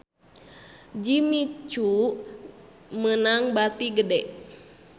Jimmy Coo meunang bati gede